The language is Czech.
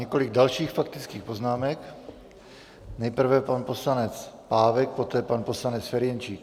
Několik dalších faktických poznámek - nejprve pan poslanec Pávek, poté pan poslanec Ferjenčík.